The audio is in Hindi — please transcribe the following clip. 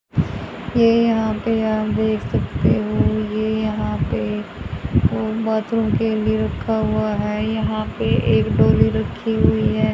यह यहां पे आप देख सकते हो ये यहां पे बाथरूम के लिए रखा हुआ है। यहां पर एक डोली रखी हुई है।